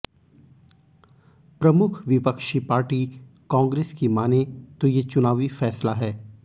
प्रमुख विपक्षी पार्टी कांग्रेस की माने तो ये चुनावी फैसला है